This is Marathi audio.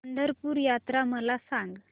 पंढरपूर यात्रा मला सांग